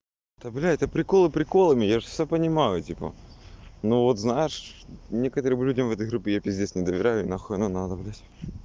то блядь то приколы приколами я же все понимаю типа ну вот знаешь некоторым людям в этой группе я пиздец не доверяю и нахуй оно надо блять